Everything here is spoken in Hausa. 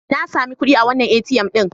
Na sami kuɗi a wannan ATM ɗin.